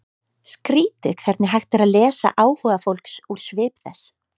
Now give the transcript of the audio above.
Skrýtið hvernig hægt er að lesa áhuga fólks úr svip þess.